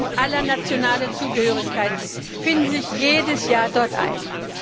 Und Menschen aller nationalen Zugehörigkeiten finden sich jedes Jahr dort ein.